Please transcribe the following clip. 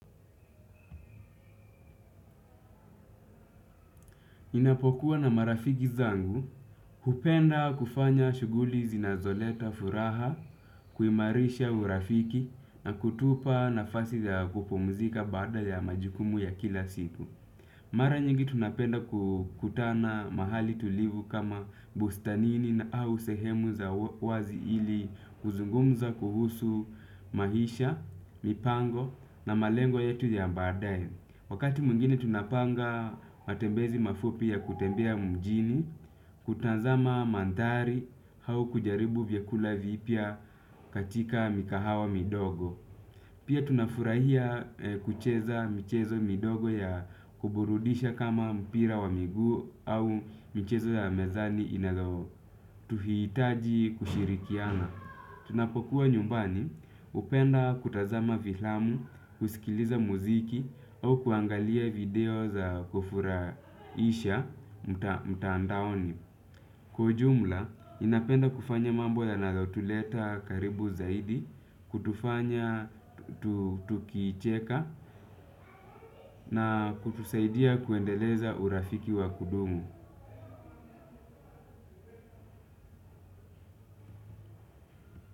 Ninapokuwa na marafiki zangu, hupenda kufanya shuguli zinazoleta furaha, kuimarisha urafiki na kutupa nafasi ya kupumzika baada ya majukumu ya kila siku. Mara nyingi tunapenda kukutana mahali tulivu kama bustanini na au sehemu za wazi ili kuzungumza kuhusu maisha, mipango na malengo yetu ya badae. Wakati mwingine tunapanga matembezi mafupi ya kutembea mjini, kutazama mandhari au kujaribu vyakula vipya katika mikahawa midogo. Pia tunafurahia kucheza michezo midogo ya kuburudisha kama mpira wa miguu au michezo ya mezani inazotuhitaji kushirikiana. Tunapokuwa nyumbani hupenda kutazama vilamu, kusikiliza muziki au kuangalia video za kufuraisha mtaandaoni. Kwa ujumla, ninapenda kufanya mambo yanayotuleta karibu zaidi, kutufanya tukicheka na kutusaidia kuendeleza urafiki wa kudumu.